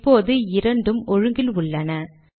இப்போது இரண்டும் ஒழுங்கில் உள்ளன